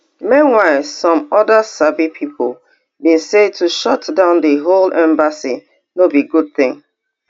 meanwhile some oda sabi pipo bin say to shutdown di whole embassy no be good tin